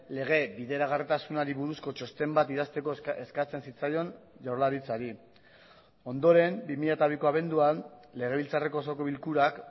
lege bideragarritasunari buruzko txosten bat idazteko eskatzen zitzaion jaurlaritzari ondoren bi mila biko abenduan legebiltzarreko osoko bilkurak